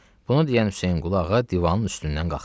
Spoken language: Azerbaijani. Bunu deyən Hüseynqulu ağa divanın üstündən qalxdı.